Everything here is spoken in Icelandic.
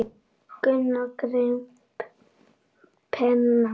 Gunnar greip penna.